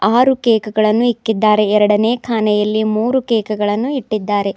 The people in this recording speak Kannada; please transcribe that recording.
ಆರು ಕೇಕ್ ಗಳನ್ನು ಇಕ್ಕಿದ್ದಾರೆ ಎರಡನೇ ಕಾಣೆಯಲ್ಲಿ ಮೂರು ಕೇಕ್ ಗಳನ್ನು ಇಟ್ಟಿದ್ದಾರೆ.